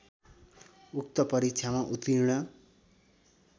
उक्त परीक्षामा उत्तीर्ण